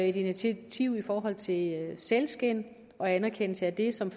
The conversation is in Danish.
et initiativ i forhold til sælskind og anerkendelse af det som